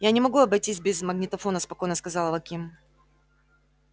я не могу обойтись без магнитофона спокойно сказал аваким